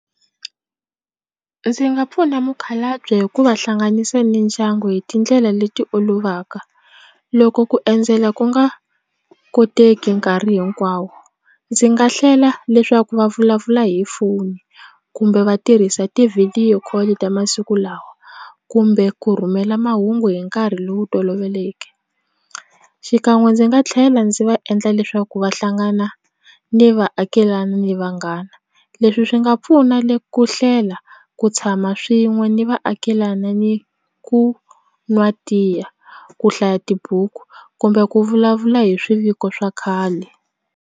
Ndzi nga pfuna mukhalabye hi ku va hlanganisa ni ndyangu hi tindlela leti olovaka loko ku endzela ku nga koteki nkarhi hinkwawo ndzi nga hlela leswaku va vulavula hi foni kumbe va tirhisa ti-video call ta masiku lawa kumbe ku rhumela mahungu hi nkarhi lowu toloveleke xikan'we ndzi nga tlhela ndzi va endla leswaku va hlangana ni vaakelani ni vanghana leswi swi nga pfuna ku hlela ku tshama swin'we ni vaakelana ni ku nwa tiya ku hlaya tibuku kumbe ku vulavula hi swiviko swa khale.